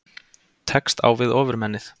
Tekst á við Ofurmennið